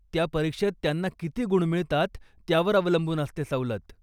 त्या परीक्षेत त्यांना किती गुण मिळतात, त्यावर अवलंबून असते सवलत?